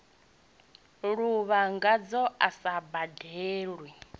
lovha ngazwo a sa badelwe